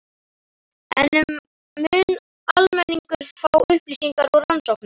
En mun almenningur fá upplýsingar úr rannsóknunum?